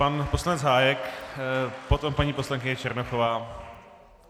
Pan poslanec Hájek, potom paní poslankyně Černochová.